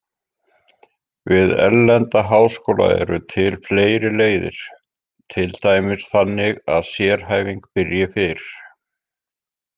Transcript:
Við erlenda háskóla eru til fleiri leiðir, til dæmis þannig að sérhæfing byrji fyrr.